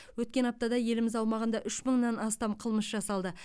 өткен аптада еліміз аумағында үш мыңнан астам қылмыс жасалды